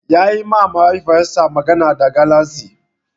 Yayi ma Mahaifiyarsa magana da galatsi.